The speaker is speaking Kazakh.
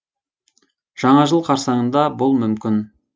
жаңа жыл қарсаңында бұл мүмкін